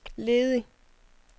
ledig